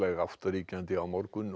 átt ríkjandi á morgun og